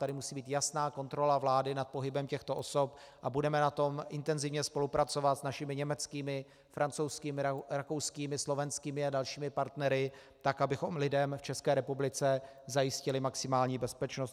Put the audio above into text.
Tady musí být jasná kontrola vlády nad pohybem těchto osob a budeme na tom intenzivně spolupracovat s našimi německými, francouzskými, rakouskými, slovenskými a dalšími partnery tak, abychom lidem v České republice zajistili maximální bezpečnost.